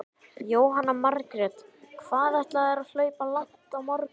Jóhanna Margrét: Hvað ætlarðu að hlaupa langt á morgun?